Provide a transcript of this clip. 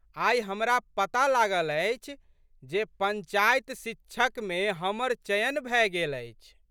आइ हमरा पता लागल अछि जे पंचायत शिक्षकमे हमर चयन भए गेल अछि।